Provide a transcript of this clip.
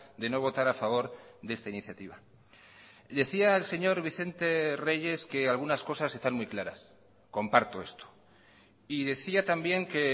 de no votar a favor de esta iniciativa decía el señor vicente reyes que algunas cosas están muy claras comparto esto y decía también que